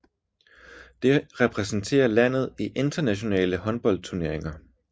Det repræsenterer landet i internationale håndboldturneringer